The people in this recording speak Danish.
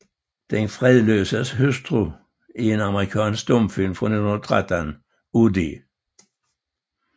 Den Fredløses Hustru er en amerikansk stumfilm fra 1913 af D